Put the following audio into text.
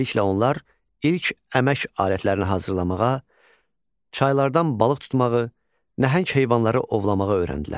Beləliklə onlar ilk əmək alətlərini hazırlamağa, çaylardan balıq tutmağı, nəhəng heyvanları ovlamağa öyrəndilər.